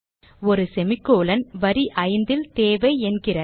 ஒரு semicolon வரி 5 ல் தேவை என்கிறது